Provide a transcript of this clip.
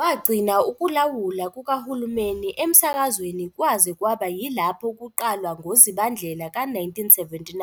Wagcina ukulawula kukahulumeni emsakazweni kwaze kwaba yilapho kuqalwa ngoZibandlela ka-1979